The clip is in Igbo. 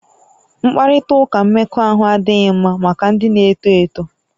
Mkparịta ụka mmekọahụ adịghị mma maka ndị na-eto eto